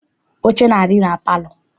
Oche na-adị na palọ.